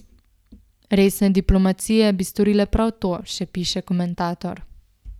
Resne diplomacije bi storile prav to, še piše komentator.